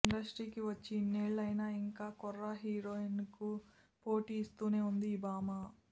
ఇండస్ట్రీకి వచ్చి ఇన్నేళ్లైనా ఇంకా కుర్ర హీరోయిన్లకు పోటీ ఇస్తూనే ఉంది ఈ భామ